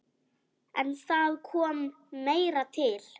En það kom meira til.